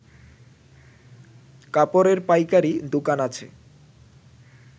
কাপড়ের পাইকারি দোকান আছে